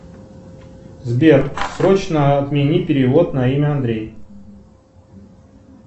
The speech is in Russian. сбер срочно отмени перевод на имя андрей